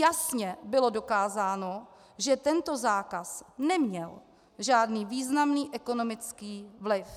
Jasně bylo dokázáno, že tento zákaz neměl žádný významný ekonomický vliv.